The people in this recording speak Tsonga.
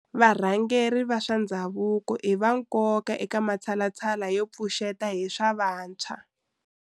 Varhangeri va swa ndhavuko i va nkoka eka matshalatshala yo pfuxeta hi swa vantshwa.